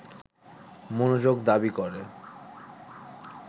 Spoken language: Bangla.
মনোযোগ দাবি করে